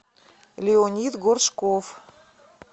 леонид горшков